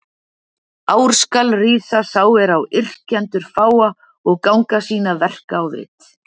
Ár skal rísa sá er á yrkjendur fáa, og ganga síns verka á vit.